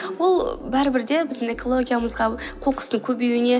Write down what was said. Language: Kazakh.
ол бәрібір де біздің экологиямызға қоқыстың көбеюіне